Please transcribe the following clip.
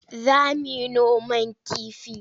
Za mu yi noman kifi.